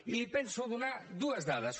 i li penso donar dues dades